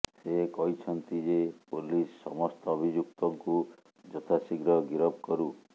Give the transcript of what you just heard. ସେ କହିଛନ୍ତି ଯେ ପୋଲିସ ସମସ୍ତ ଅଭିଯୁକ୍ତଙ୍କୁ ଯଥାଶୀଘ୍ର ଗିରଫ କରୁ